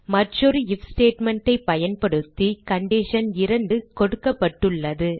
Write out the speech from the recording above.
மற்றொரு if statement ஐ பயன்படுத்தி கண்டிஷன் 2 கொடுக்கப்பட்டுள்ளது